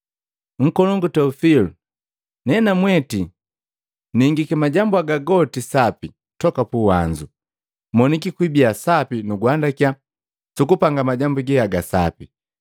Unkolongu Teofili, nenamweti ningiki majambu haga goti sapi toka puwanzu, moniki kwibia sapi nuguandakya sukupanga majambu ge haga sapi.